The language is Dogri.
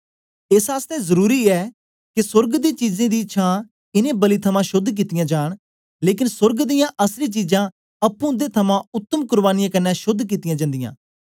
एस आसतै जरुरी ऐ के सोर्ग दी चीजें दी छां इनें बलि थमां शोद्ध कितीयाँ जांन लेकन सोर्ग दियां असली चीजां अप्पुं इंदे थमां उत्तम कुर्बानीयें क्न्ने शोद्ध कित्तियां जन्दीयां